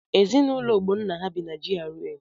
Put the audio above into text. Ezinaụlọ Ogbonna ha bi na GRA?